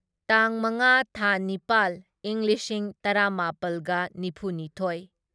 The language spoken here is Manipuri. ꯇꯥꯡ ꯃꯉꯥ ꯊꯥ ꯅꯤꯄꯥꯜ ꯢꯪ ꯂꯤꯁꯤꯡ ꯇꯔꯥꯃꯥꯄꯜꯒ ꯅꯤꯐꯨꯅꯤꯊꯣꯢ